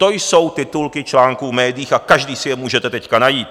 To jsou titulky článku v médiích a každý si je můžete teď najít.